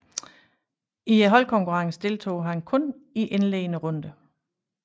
I holdkonkurrencen deltog han kun i indledende runde